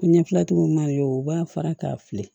Ɲɛfilatigiw ma ye o b'a fara k'a fili